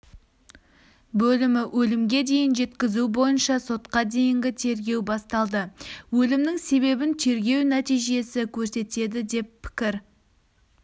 бөлімі өлімге дейін жеткізу бойынша сотқа дейінгі тергеу басталды өлімнің себебін тергеу нәтижесі көрсетеді деп пікір